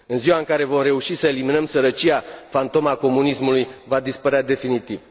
În ziua în care vom reuși să eliminăm sărăcia, fantoma comunismului va dispărea definitiv.